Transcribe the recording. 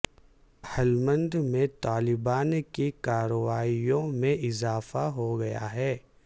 ہلمند میں طالبان کی کارروائیوں میں اضافہ ہو گیا ہے